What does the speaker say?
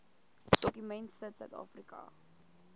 dokument sit suidafrika